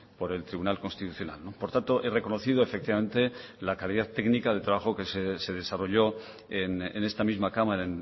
por el tribunal constitucional por tanto he reconocido efectivamente la calidad técnica del trabajo que se desarrolló en esta misma cámara